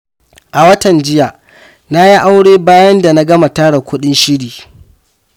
A watan jiya, na yi aure bayan da na gama tara kuɗin shiri.